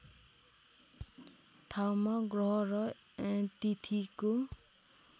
ठाउँमा ग्रह र तिथिको